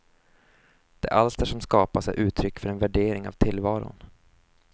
De alster som skapas är uttryck för en värdering av tillvaron.